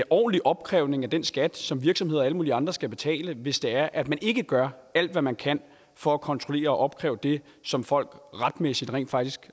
ordentlig opkrævning af den skat som virksomheder og alle mulige andre skal betale hvis det er at man ikke gør alt hvad man kan for at kontrollere og opkræve det som folk retmæssigt rent faktisk